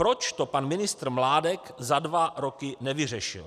Proč to pan ministr Mládek za dva roky nevyřešil.